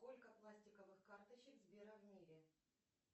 сколько пластиковых карточек сбера в мире